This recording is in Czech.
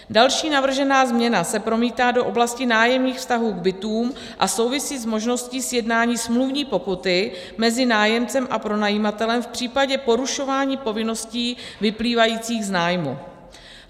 Další navržená změna se promítá do oblasti nájemních vztahů k bytům a souvisí s možností sjednání smluvní pokuty mezi nájemcem a pronajímatelem v případě porušování povinností vyplývajících z nájmu.